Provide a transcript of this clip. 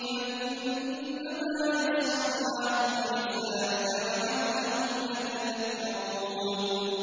فَإِنَّمَا يَسَّرْنَاهُ بِلِسَانِكَ لَعَلَّهُمْ يَتَذَكَّرُونَ